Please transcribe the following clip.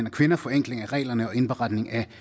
og kvinder forenkling af reglerne og indberetning af